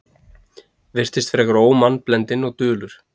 Virtist frekar ómannblendinn og dulur.